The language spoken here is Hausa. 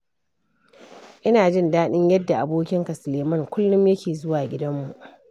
Ina jin daɗin yadda abokina Sulaiman kullum yake zuwa gidanmu.